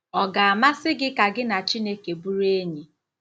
Ọ ga-amasị gị ka gị na Chineke bụrụ enyi?